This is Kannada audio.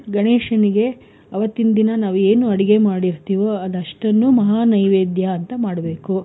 ಗಣೇಶನಿಗೆ ಅವತ್ತಿನ್ ದಿನ ನಾವು ಏನು ಅಡಿಗೆ ಮಾಡಿ ಇರ್ತೀವೋ ಅದಷ್ಟನ್ನು ಮಹಾ ನೈವೈದ್ಯ ಅಂತ ಮಾಡ್ಬೇಕು.